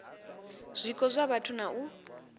zwiko zwa vhathu na u